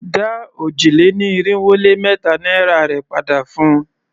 Dá òjì-lé-ní-irinwó-lé-mẹ́ta naira rè padà fun!